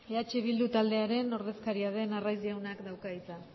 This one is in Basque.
eh bildu taldearen ordezkaria den arraiz jaunak dauka hitza